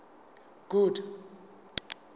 good